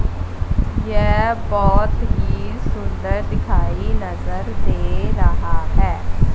येह बहोत ही सुंदर दिखाई नजर दे रहा है।